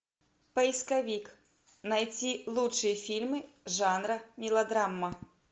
поисковик найти лучшие фильмы жанра мелодрама